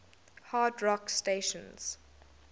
hard rock stations